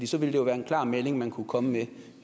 så ville det jo være en klar melding man kunne komme med